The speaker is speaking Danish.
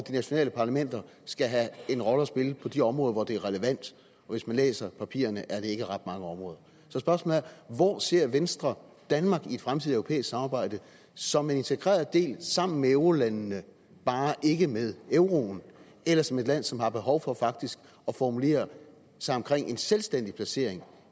de nationale parlamenter skal have en rolle at spille på de områder hvor det er relevant og hvis man læser papirerne ser man at det ikke er ret mange områder så spørgsmålet er hvor ser venstre danmark i et fremtidigt europæisk samarbejde som en integreret del sammen med eurolandene bare ikke med euroen eller som et land som har behov for faktisk at formulere sig omkring en selvstændig placering